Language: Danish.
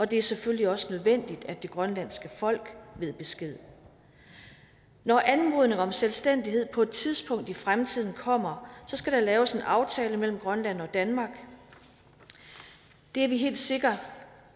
det er selvfølgelig også nødvendigt at det grønlandske folk ved besked når anmodning om selvstændighed på et tidspunkt i fremtiden kommer skal der laves en aftale mellem grønland og danmark det er vi helt sikre